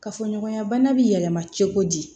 Kafoɲɔgɔnya bana bɛ yɛlɛma cogo di